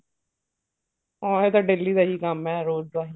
ਆਹੋ ਇਹ ਤਾਂ daily ਦਾ ਹੀ ਕੰਮ ਹੈ ਰੋਜ਼ ਦਾ ਹੀ